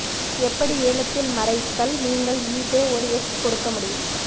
எப்படி ஏலத்தில் மறைத்தல் நீங்கள் ஈபே ஒரு எட்ஜ் கொடுக்க முடியும்